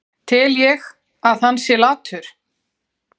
Tel ég að hann sé latur?